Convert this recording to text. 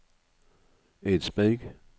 Eidsberg